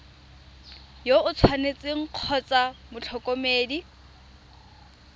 yo o tshwanetseng kgotsa motlhokomedi